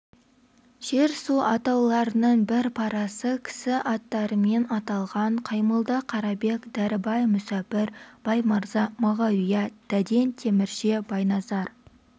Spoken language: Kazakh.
жер-су атауларының бір парасы кісі аттарымен аталған қаймолда қарабек дәрібай мүсәпір баймырза мағауия дәден темірше байназар